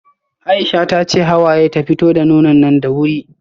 Aisha tace Hawaye ta fito da nonon nan da wuri